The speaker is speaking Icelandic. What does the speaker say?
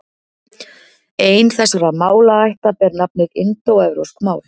Ein þessara málaætta ber nafnið indóevrópsk mál.